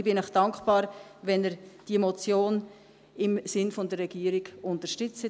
Ich bin Ihnen dankbar, wenn Sie diese Motion im Sinne der Regierung unterstützen.